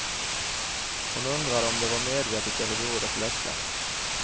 Hon undrade om det var medvetet eller berodde på lättja.